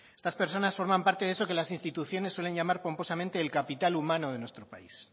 estas personas forman parte de eso que las instituciones suelen llamar pomposamente el capital humano de nuestro país